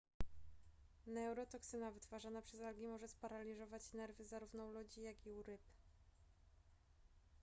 neurotoksyna wytwarzana przez algi może sparaliżować nerwy zarówno u ludzi jak i u ryb